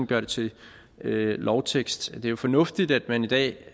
gjort til lovtekst det er jo fornuftigt at man i dag